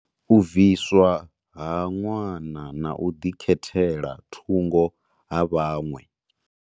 U bviswa ha ṅwana na u ḓikhethela thungo ha vhaṅwe.